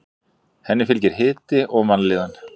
Henni fylgir hiti og vanlíðan.